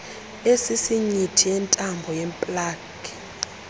esisinyithi yentambo yeplagi